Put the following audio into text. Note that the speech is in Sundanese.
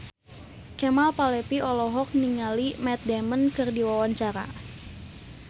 Kemal Palevi olohok ningali Matt Damon keur diwawancara